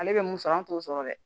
Ale bɛ mun sɔrɔ an t'o sɔrɔ dɛ